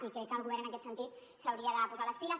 i crec que el govern en aquest sentit s’hauria de posar les piles